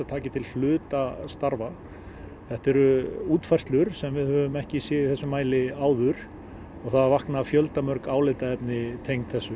taki til hluta starfa þetta eru útfærslur sem við höfum ekki séð í þessum mæli áður og það vakna fjöldamörg álitaefni tengd þessu